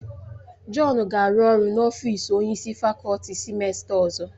Jọn ga-arụ ọrụ n'ọfịs onye isi fakọlti sịmesta ọzọ